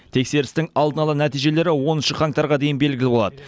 тексерістің алдын ала нәтижелері оныншы қаңтарға дейін белгілі болады